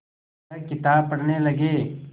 वह किताब पढ़ने लगे